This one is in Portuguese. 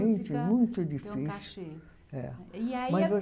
muito difícil. é mas